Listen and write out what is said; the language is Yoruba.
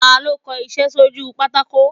Ta lọ kọ iṣẹ sorí pàtàkó?